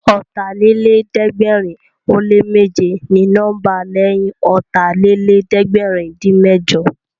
Ọ̀tàlélẹ̀ẹ́dẹ́gbẹ̀rin ó lé méje ni nọ́mbà lẹ́yìn Ọ̀tàlélẹ̀ẹ́dẹ́gbẹ̀rin-dín-mẹ́jọ